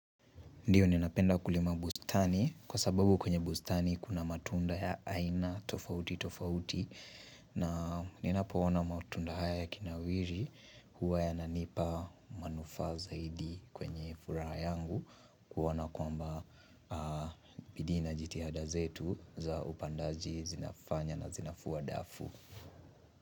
Ndio ninapenda kulima bustani kwa sababu kwenye bustani kuna matunda ya aina tofauti tofauti na ninapoona matunda haya yakinawiri huwa yananipa manufa zaidi kwenye furaha yangu kuona kwamba bidii na jitihada zetu za upandaji zinafanya na zinafua dafu.